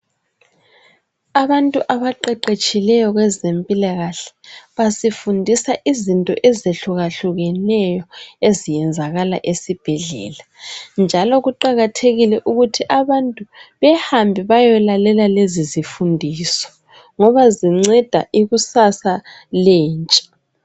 Abantu abaqeqetshileyo kwezempilakahle basifundisa izinto eziyehluka hlukaneyo ezenziwa esibhedlela njalo kuqakathekile ukuthi abantu behambe beyelalela lezo zifundiso ngoba zinceda ikusasa lentsha